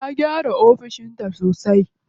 Ta gyara ofis ɗinta sosai.